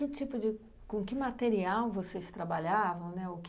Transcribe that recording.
que tipo de com que material vocês trabalhavam, né? o